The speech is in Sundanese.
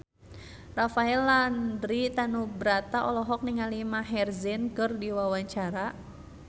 Rafael Landry Tanubrata olohok ningali Maher Zein keur diwawancara